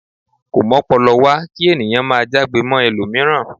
Ko m'ọ́pọlọwá ki ènìyàn máà já'gbe mọ ẹlomiran.